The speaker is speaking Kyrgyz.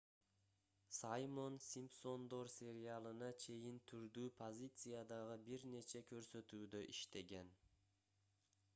саймон симпсондор сериалына чейин түрдүү позициядагы бир нече көрсөтүүдө иштеген